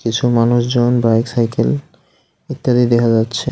কিছু মানুষজন bike cycle ইত্যাদি দেখা যাচ্ছে.